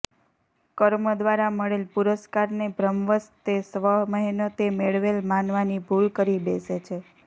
કર્મ દ્વારા મળેલ પુરસ્કારને ભ્રમવશ તે સ્વમહેનતે મેળવેલ માનવાની ભૂલ કરી બેસે છે